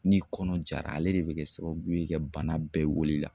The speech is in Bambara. Ni kɔnɔ jara ale de be kɛ sababu ye ka bana bɛɛ wolo i la.